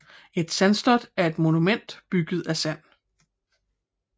Et sandslot er et monument bygget af sand